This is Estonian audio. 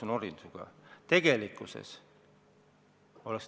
– sinuga norima.